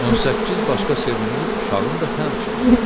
18 başqa sevimli uşağım da həmçinin.